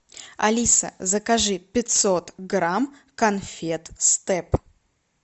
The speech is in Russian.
алиса закажи пятьсот грамм конфет степ